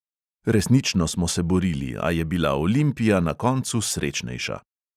Resnično smo se borili, a je bila olimpija na koncu srečnejša.